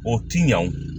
O ti ɲa wo